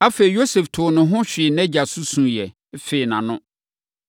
Afei, Yosef too ne ho hwee nʼagya so suiɛ, fee nʼano.